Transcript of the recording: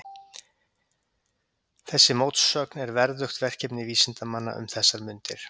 Þessi mótsögn er verðugt verkefni vísindamanna um þessar mundir.